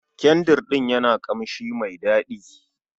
Kyandrin ɗin yana da kamshi mai dadi.